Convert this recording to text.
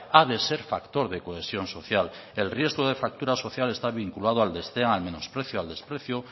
ha de ser factor de cohesión social el riesgo de fractura social está vinculado al desdén al menosprecio al desprecio